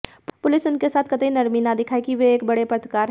police उनके साथ कतई नरमी न दिखाए कि वे एक बड़े पत्रकार हैं